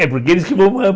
É porque eles que vão